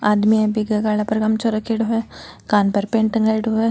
आदमी है बीके गला पर गमछाे रखेड़ो है कान पर पेन टँगाएड़ो है।